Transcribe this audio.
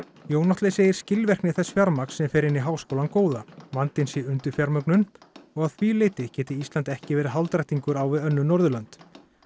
Jón Atli segir skilvirkni þess fjármagns sem fer inn í háskólann góða vandinn sé undirfjármögnun og að því leyti geti Ísland ekki verið hálfdrættingar á við önnur Norðurlönd